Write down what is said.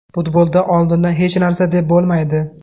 Futbolda oldindan hech narsa deb bo‘lmaydi.